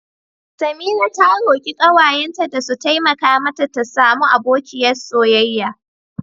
Samira ta roki kawayenta da su taimaka mata ta samu abokiyar soyayya.